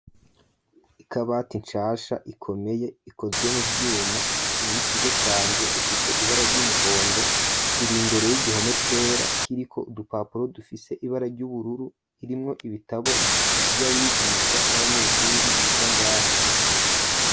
Ikabati inshasha ikomeye ikozwe mu vyuma niy'ikigo canje ifise ibara ry'umuhondo iri mbere y'igihome cera kiri ko udupapuro dufise ibara ry'ubururu irimwo ibitabo by'abigisha n'abanyeshuri biga ngaha.